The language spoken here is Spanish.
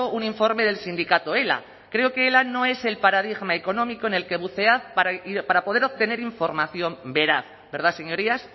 un informe del sindicato ela creo que ela no es el paradigma económico en el que bucear para poder obtener información veraz verdad señorías